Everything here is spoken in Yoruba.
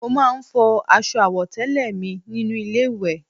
Mo máa ń fọ aṣọ àwọ̀tẹ́lẹ̀ mi nínú ilé ìwẹ̀